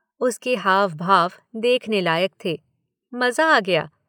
उसके हाव भाव देखने लायक थे। मज़ा आ गया।